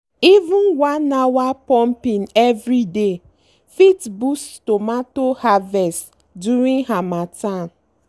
even one hour pumping everyday fit boost tomato harvest during harmattan.